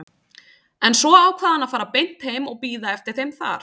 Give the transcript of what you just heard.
En svo ákvað hann að fara beint heim og bíða eftir þeim þar.